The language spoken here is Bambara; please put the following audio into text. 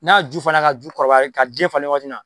N'a ju fara ka ju kɔrɔbaya ka den falen waati min na